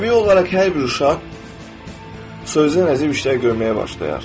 Təbii olaraq hər bir uşaq sözün əzəl işlər görməyə başlayar.